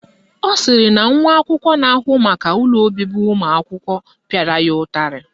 Ọ sịrị na nwa akwụkwọ na-ahụ maka ụlọ obibi ụmụakwụkwọ pịara ya ụtarị